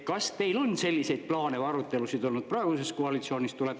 Kas teil on selliseid plaane või arutelusid olnud praeguses koalitsioonis?